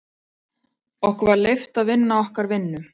Okkur var leyft að vinna okkar vinnu.